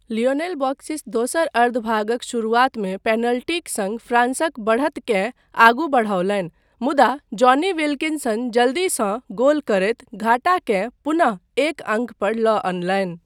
Lionel Beauxis दोसर अर्द्धभागक शुरुआतमे पेनल्टीक सङ्ग फ्रान्सक बढ़तकेँ आगू बढ़ओलनि, मुदा जॉनी विल्किंसन जल्दीसँ गोल करैत घाटाकेँ पुनः एक अङ्क पर लऽ अनलनि।